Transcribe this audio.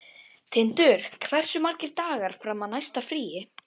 Tindur, hversu margir dagar fram að næsta fríi?